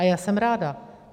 A já jsem ráda.